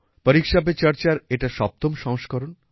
পরীক্ষা পে চর্চার এটা সপ্তম সংস্করণ